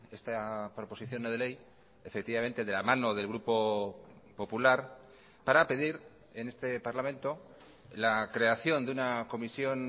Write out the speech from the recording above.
esta proposición no de ley efectivamente de la mano del grupo popular para pedir en este parlamento la creación de una comisión